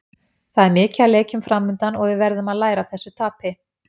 Það er mikið af leikjum framundan og við verðum að læra af þessu tapi.